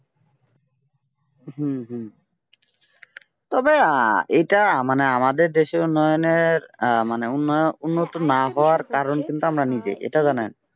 হুঁ হুঁ তবে আহ এইটা মানে আমাদের দেশের উন্নয়নের আহ মানে উন্নয়ন উন্নত না হওয়ার কারণ কিন্তু আমরা নিজে এটা জানেন